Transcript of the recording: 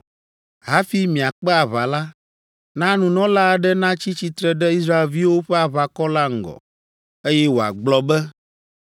Hafi miakpe aʋa la, na nunɔla aɖe natsi tsitre ɖe Israelviwo ƒe aʋakɔ la ŋgɔ, eye wòagblɔ be,